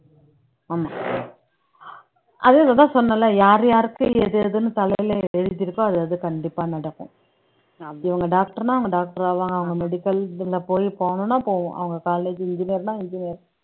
ஆமா அது இதத்தான் சொன்னேன்ல யார் யாருக்கு எது எதுன்னு தலையில எழுதியிருக்கோ அது அது கண்டிப்பா நடக்கும் இவங்க doctor ன்னா அவங்க doctor ஆவாங்க medical இதுல போய் போணும்ன்னா போவோம் அவங்க college engineer ன்னா engineer